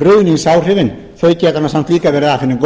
ruðningsáhrifin þau geta samt líka verið af hinu góða